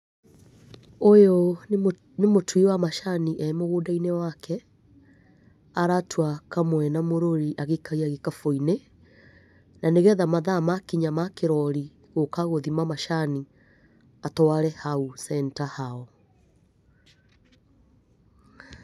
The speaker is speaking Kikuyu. Ũyũ nĩ mũtui wa macani e mũgũnda-inĩ wake, aratua kamwe na mũrũri agĩikagia gĩkabu-inĩ, na nĩgetha mathaa makinya ma kĩroori gũka gũthima macani, atware hau center hao.